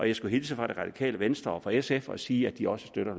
jeg skulle hilse fra det radikale venstre og fra sf og sige at de også støtter